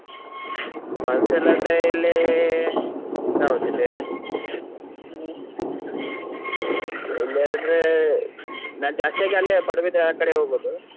Falls ಎಲ್ಲಾ ಆದ್ರೆ ಇಲ್ಲಿ ಯಾವ್ದು ಇದೆ ಇಲ್ಲಿಯಂದ್ರೆ ನಾನು ಜಾಸ್ತಿಯಾಗಿ ಅಲ್ಲೇ Padubidri ಆ ಕಡೆ ಹೋಗುದು.